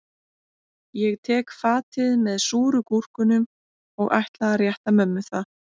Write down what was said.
Ég tek fatið með súru gúrkunum og ætla að rétta mömmu það